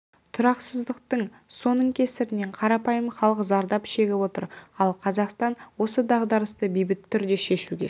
тұрақсыздық соның кесірінен қарапайым халық зардап шегіп отыр ал қазақстан осы дағдарысты бейбіт түрде шешуге